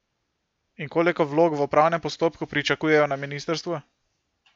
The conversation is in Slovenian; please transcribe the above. In koliko vlog v upravnem postopku pričakujejo na ministrstvu?